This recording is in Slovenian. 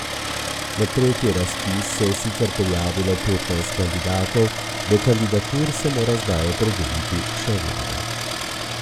Na tretji razpis se je sicer prijavilo petnajst kandidatov, do kandidatur se mora zdaj opredeliti še vlada.